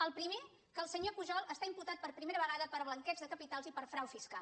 el primer que el se·nyor pujol està imputat per primera vegada per blan·queig de capitals i per frau fiscal